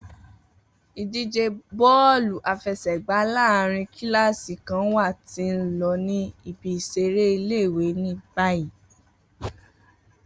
Idije bọ́ọ̀lú àfẹsẹ̀gbá laaèrin kilasi kan wa ti n lọ ni ibi-iṣere ile-iwe ni bayi.